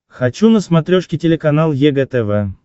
хочу на смотрешке телеканал егэ тв